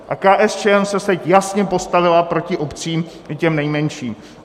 A KSČM se teď jasně postavila proti obcím, i těm nejmenším.